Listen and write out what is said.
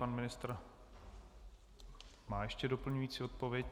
Pan ministr má ještě doplňující odpověď.